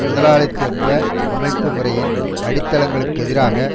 முதலாளித்துவ அமைப்புமுறையின் அடித்தளங்களுக்கெதிராக